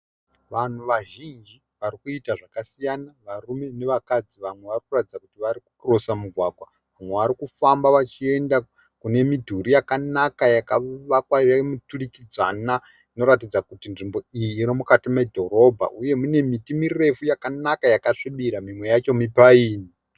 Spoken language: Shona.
Vanhu vazhinji varikuita zvakasiyana, varume nevakadzi. Vamwe varikuratidza kuti varikukirosa migwagwa. Vamwe varikufamba vachienda kune midhuri yakavakwa yakanaka yemiturikidzanwa inoratidza kuti nzvimbo iyi iri mudhorobha. Mune miti yakanaka yakasvibira imwe yacho mipayini.